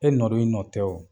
E nɔ don, e nɔ tɛ o.